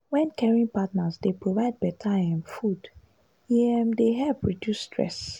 wen caring partners dey provide better um food e um dey help reduce stress.